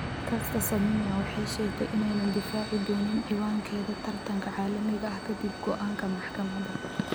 Caster Semenya waxay sheegtay inaanay difaaci doonin cinwaankeeda tartanka caalamiga ah kadib go'aanka maxkamadda.